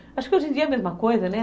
Acho que hoje em dia é a mesma coisa, né?